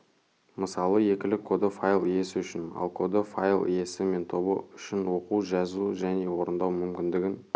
мысалы екілік коды файл иесі үшін ал коды файл иесі мен тобы үшін оқу жазу және орындау мүмкіндігін